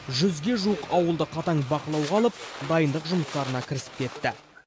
жүзге жуық ауылды қатаң бақылауға алып дайындық жұмыстарына кірісіп кетті